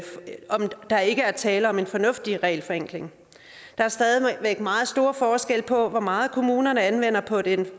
der ikke er tale om en fornuftig regelforenkling der er stadig væk meget store forskelle på hvor meget kommunerne anvender på det